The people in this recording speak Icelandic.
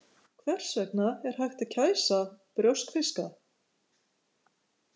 Hvers vegna er hægt að kæsa brjóskfiska.